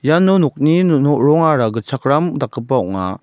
iano nokni rongara gitchakram dakgipa ong·a.